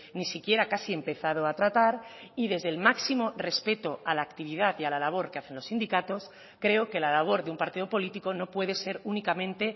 ni siquiera casi empezado a tratar y desde el máximo respeto a la actividad y a la labor que hacen los sindicatos creo que la labor de un partido político no puede ser únicamente